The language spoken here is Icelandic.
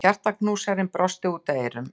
Hjartaknúsarinn brosti út að eyrum.